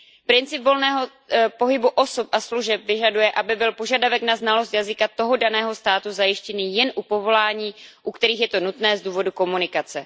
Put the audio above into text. Princip volného pohybu osob a služeb vyžaduje, aby byl požadavek na znalost jazyka toho daného státu zajištěný jen u povolání, u kterých je to nutné z důvodu komunikace.